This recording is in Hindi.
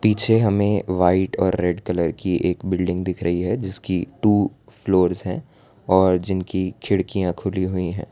पीछे हमे व्हाइट और रेड कलर की एक बिल्डिंग दिख रही है जिसकी टू फ्लोर्स हैं और जिनकी खिड़कियां खुली हुई है।